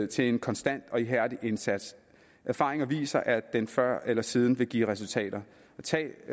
til en konstant og ihærdig indsats erfaringer viser at den før eller siden vil give resultater tag